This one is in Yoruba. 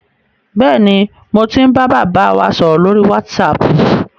Bẹ́ẹ̀ni, mo ti ń bá bàbá wa sọ̀rọ̀ lórí wásaapù.